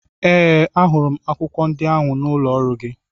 Ee! Ahụrụ m akwụkwọ ndị ahụ n'ụlọ ọrụ gị.